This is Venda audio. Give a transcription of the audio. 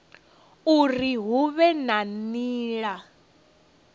uri hu vhe na nila